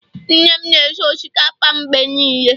nne m na-esi osikapa mgbe niile